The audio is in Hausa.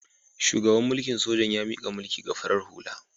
Shugaban mulikn sojan ya mika mulki ga farar hula.